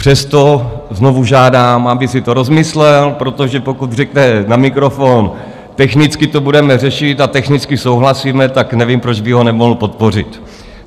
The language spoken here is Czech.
Přesto znovu žádám, aby si to rozmyslel, protože pokud řekne na mikrofon: Technicky to budeme řešit a technicky souhlasíme, tak nevím, proč by ho nemohl podpořit.